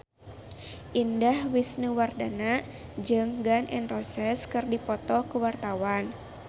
Indah Wisnuwardana jeung Gun N Roses keur dipoto ku wartawan